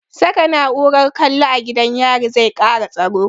Saka na'urar kallo a gidan yari zai kara tsaro